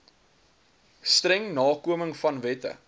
streng nakomingvan wette